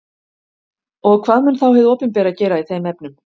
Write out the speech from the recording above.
Og hvað mun þá hið opinbera gera í þeim efnum?